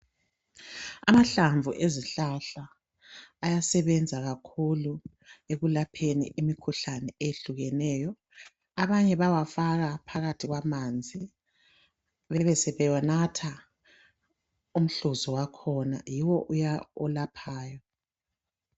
Amahlamvu ezihlahla ayasebenza kakhulu ,ekulapheni imikhuhlane eyehlukeneyo. Abanye bayawafaka phakathi kwamanzi bebesebenatha umhluzi wakhona yiwo uya olaphayo.